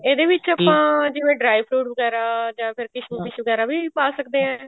ਇਹਦੇ ਵਿੱਚ ਆਪਾਂ ਜਿਵੇਂ dry fruit ਵਗੈਰਾ ਜਾਂ ਫ਼ੇਰ ਵਗੈਰਾ ਵੀ ਪਾ ਸਕਦੇ ਹਾਂ